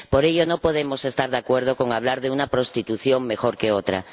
Por ello, no podemos estar de acuerdo con hablar de una prostitución mejor que otra.